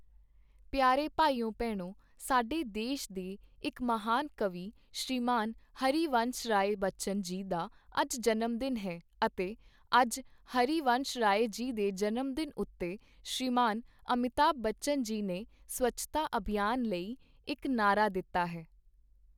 ਪਿਆਰੇ ਭਾਈਓ ਭੈਣੋਂ, ਸਾਡੇ ਦੇਸ਼ ਦੇ ਇੱਕ ਮਹਾਨ ਕਵੀ ਸ਼੍ਰੀਮਾਨ ਹਰਿ ਵੰਸ਼ ਰਾਏ ਬੱਚਨ ਜੀ ਦਾ ਅੱਜ ਜਨਮ ਦਿਨ ਹੈ ਅਤੇ ਅੱਜ ਹਰਿ ਵੰਸ਼ ਰਾਏ ਜੀ ਦੇ ਜਨਮ ਦਿਨ ਉੱਤੇ ਸ਼੍ਰੀਮਾਨ ਅਮਿਤਾਭ ਬੱਚਨ ਜੀ ਨੇ ਸਵੱਛਤਾ ਅਭਿਆਨ ਲਈ ਇੱਕ ਨਾਅਰਾ ਦਿੱਤਾ ਹੈ।